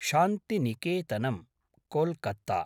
शान्तिनिकेतनम्, Kolkata